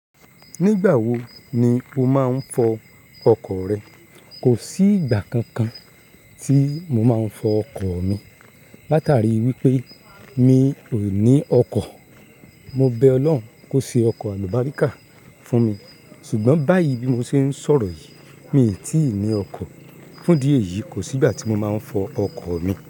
Nígbà wo ni o máa ń fọ ọkọ̀ rẹ? Kò sí ìgbà kankan tí mo máa ń fọ ọkọ̀ mi. Lá tàrí wípé mi ò ní ọkọ̀. Mo bẹ Ọlọ́run kó ṣe ọkọ̀ àlùbọ́ríkà fún mi, ṣùgbọ́n báyìí bí mo ṣe ń sọ̀rọ̀ yìí, mi ò tí ì ní ọkọ̀. Fún dí ẹ̀yí, kò sí ìgbà tí mo máa ń fọ ọkọ̀ mi.